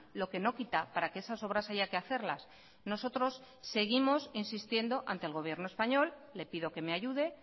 lo que no quita para que esas obras haya que hacerlas nosotros seguimos insistiendo ante el gobierno español le pido que me ayude